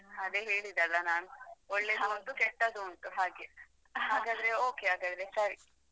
ಅದೇ ಹೇಳಿದೆಲ್ಲಾ ನಾನು ಒಳ್ಳೆದುಂಟು ಕೆಟ್ಟದುಂಟು ಹಾಗೆ ಹಾಗಾದ್ರೆ okay ಹಾಗಾದ್ರೆ ಸರಿ.